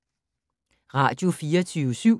Radio24syv